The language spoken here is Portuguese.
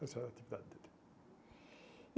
Essa era a atividade dele.